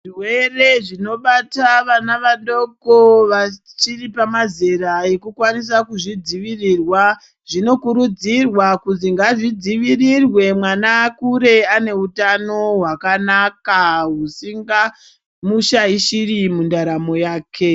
Zvirwere zvinobata vana vadoko vachiri pamazera ekukwanisa kuzvidzivirirwa, zvinokurudzirwa kuzi ngazvidzivirirwe mwana akure ane utano hwakanaka husingamushaishiri mundaramo yake.